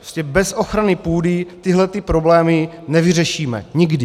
Prostě bez ochrany půdy tyhle problémy nevyřešíme nikdy.